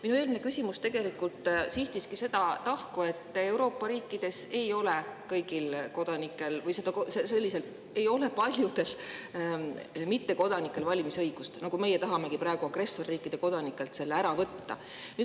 Minu eelmine küsimus sihtiski seda tahku, et Euroopa riikides ei ole paljudel mittekodanikel valimisõigust, nii nagu ka meie tahame praegu agressorriikide kodanikelt selle ära võtta.